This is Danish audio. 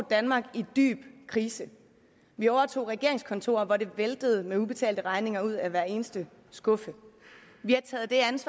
et danmark i dyb krise vi overtog regeringskontorer hvor det væltede med ubetalte regninger ud af hver eneste skuffe vi